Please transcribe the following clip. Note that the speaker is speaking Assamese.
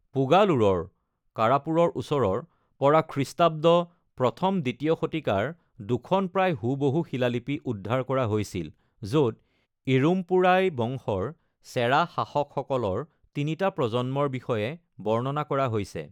পুগালুৰৰ (কাৰাপুৰৰ ওচৰৰ) পৰা খ্ৰীষ্টাব্দ ১ম-২য় শতিকাৰ দুখন প্ৰায় হুবহু শিলালিপি উদ্ধাৰ কৰা হৈছিল, য’ত ইৰুম্পোৰাই বংশৰ চেৰা শাসকসকলৰ তিনিটা প্ৰজন্মৰ বিষয়ে বৰ্ণনা কৰা হৈছে।